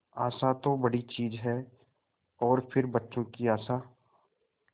आशा तो बड़ी चीज है और फिर बच्चों की आशा